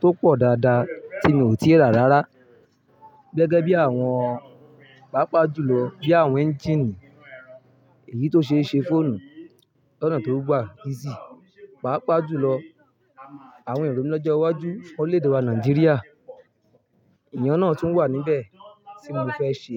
tó pò dàdá tí mi ò tí i rà rárá gégé bi àwon pàápàá jùlo bí àwon engine èyí to se se fóònù lọnà tó gbà easy pàápàá jùlo. Àwon èrò mi lójó iwájú fún orílè-èdè wà Nàìjíríà, ìyàn náà tún wà níbè tí mo fé se.